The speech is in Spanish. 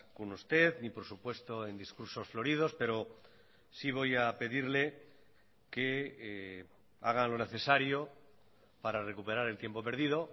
con usted ni por supuesto en discursos floridos pero sí voy a pedirle que haga lo necesario para recuperar el tiempo perdido